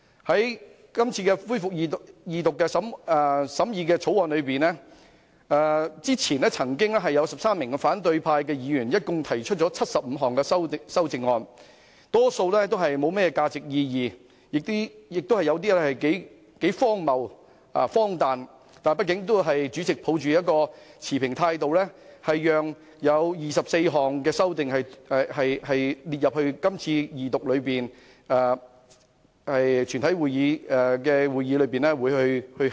對於今次恢復《條例草案》的二讀辯論，之前曾有13名反對派議員提出合共75項修正案，大多數不具甚麼價值和意義，而有些亦頗為荒謬和荒誕，但畢竟主席也抱着持平的態度，批准了24項修正案，讓議員在今次二讀辯論和全體委員會審議階段考慮。